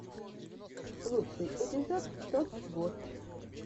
лучший эпизод топ вотч